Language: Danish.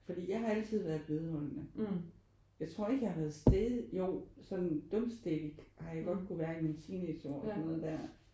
Fordi jeg har altid været vedholdende. Jeg tror ikke jeg har været stædig jo sådan dumstædig har jeg godt kunne være i mine teenageår og sådan noget der